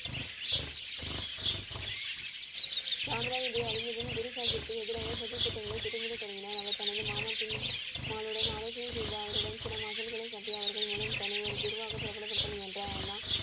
ராம் ராய் இதை அறிந்ததும், குரு சாஹீபிர்க்கு எதிராக சதி திட்டங்களை திட்டமிட தொடங்கினார். அவர் தனது மாமா மாருடன் ஆலோசனை செய்து அவருடன் சில மாசங்களையும் கட்டி அவர்கள் மூலம் தன்னை ஒரு குருவாக பிரபலப்படுத்த முயன்றார். ஆனா